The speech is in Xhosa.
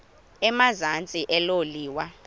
emazantsi elo liwa